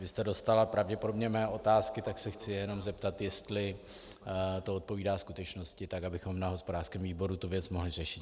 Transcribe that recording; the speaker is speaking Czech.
Vy jste dostala pravděpodobně mé otázky, tak se chci jenom zeptat, jestli to odpovídá skutečnosti, tak abychom na hospodářském výboru tu věc mohli řešit.